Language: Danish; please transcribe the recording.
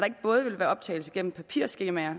ikke både vil være optagelse gennem papirskemaer